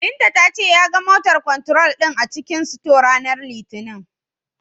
Binta ta ce, ya ga "motor control" din a cikin sito, ranar Litinin.